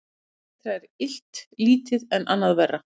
Betra er illt lítið en annað verra.